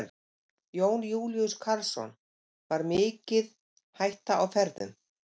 Jón Júlíus Karlsson: Var mikið hætta á ferðum?